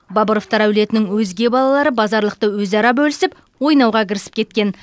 бабыровтар әулетінің өзге балалары базарлықты өзара бөлісіп ойнауға кірісіп кеткен